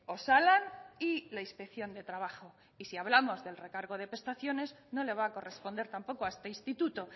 osalan y la inspección de trabajo y si hablamos del recargo de prestaciones no le va a corresponder tampoco a este instituto